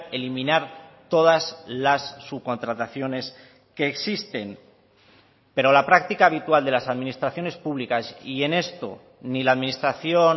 eliminar todas las subcontrataciones que existen pero la práctica habitual de las administraciones públicas y en esto ni la administración